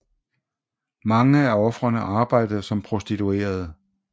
Mange af ofrene arbejdede som prostituerede